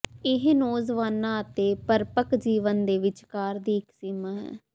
ਇਹ ਨੌਜਵਾਨਾਂ ਅਤੇ ਪਰਿਪੱਕ ਜੀਵਨ ਦੇ ਵਿਚਕਾਰ ਦੀ ਇਕ ਸੀਮਾ ਹੈ